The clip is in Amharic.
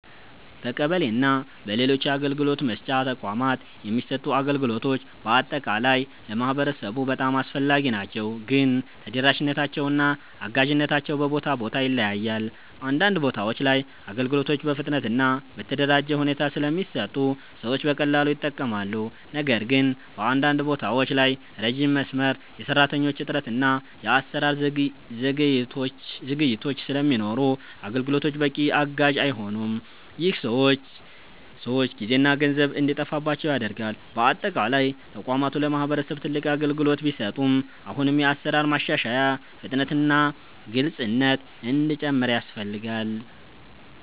በቀበሌ እና በሌሎች የአገልግሎት መስጫ ተቋማት የሚሰጡ አገልግሎቶች በአጠቃላይ ለማህበረሰቡ በጣም አስፈላጊ ናቸው፣ ግን ተደራሽነታቸው እና አጋዥነታቸው በቦታ ቦታ ይለያያል። አንዳንድ ቦታዎች ላይ አገልግሎቶች በፍጥነት እና በተደራጀ ሁኔታ ስለሚሰጡ ሰዎች በቀላሉ ይጠቀማሉ። ነገር ግን በአንዳንድ ቦታዎች ላይ ረጅም መስመር፣ የሰራተኞች እጥረት እና የአሰራር ዘግይቶች ስለሚኖሩ አገልግሎቶቹ በቂ አጋዥ አይሆኑም። ይህ ሰዎች ጊዜና ገንዘብ እንዲጠፋባቸው ያደርጋል። በአጠቃላይ ተቋማቱ ለማህበረሰብ ትልቅ አገልግሎት ቢሰጡም አሁንም የአሰራር ማሻሻያ፣ ፍጥነት እና ግልፅነት እንዲጨምር ያስፈልጋል።